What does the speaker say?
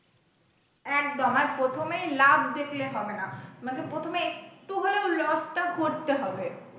একদম আর প্রথমেই লাভ দেখলে হবে না মানে প্রথমে একটু হলেও loss টা করতে হবে।